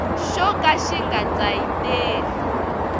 xo ka xi nga tsayiteli